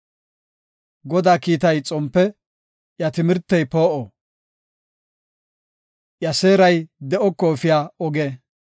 Godaa kiitay xompe; iya timirtey poo7o; iya seeray de7oko efiya oge.